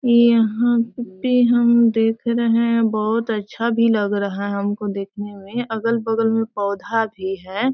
यहाँ पे हम देख रहे है बहोत अच्छा भी लग रहा है हमको देखने में अगल बगल में पौधा भी है।